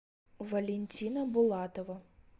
валентина булатова